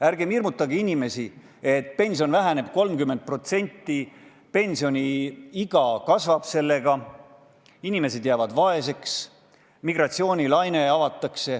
Ärgem hirmutagem inimesi, et pension väheneb 30% ja pensioniiga tõuseb, inimesed jäävad vaeseks, migratsioonilaine pääseb vabaks.